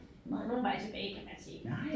Nogen vej tilbage kan man sige